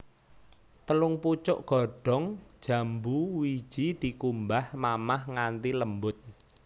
Telung pucuk godhong jambu wiji dikumbah mamah nganthi lembut